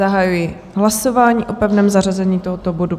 Zahajuji hlasování o pevném zařazení tohoto bodu.